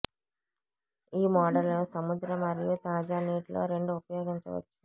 ఈ మోడల్ సముద్ర మరియు తాజా నీటిలో రెండు ఉపయోగించవచ్చు